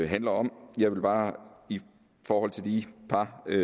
handler om jeg vil bare i forhold til de par